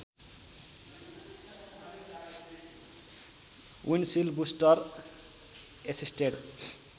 windshield booster assisted